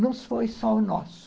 Não foi só o nosso.